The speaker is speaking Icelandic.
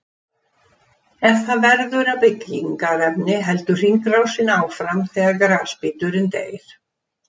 Ef það verður að byggingarefni heldur hringrásin áfram þegar grasbíturinn deyr.